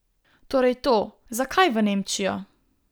Torej to, zakaj v Nemčijo?